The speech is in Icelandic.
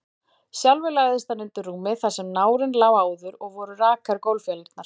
Sjálfur lagðist hann undir rúmið þar sem nárinn lá áður, og voru rakar gólffjalirnar.